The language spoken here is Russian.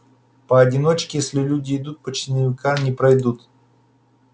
поодиночке если люди идут почти наверняка не пройдут